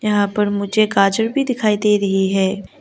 यहां पर मुझे गाजर भी दिखाई दे रही है।